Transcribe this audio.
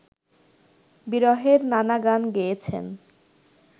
বিরহের নানা গান গেয়েছেন